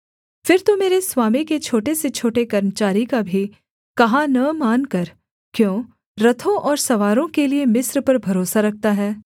फिर तू मेरे स्वामी के छोटे से छोटे कर्मचारी का भी कहा न मानकर क्यों रथों और सवारों के लिये मिस्र पर भरोसा रखता है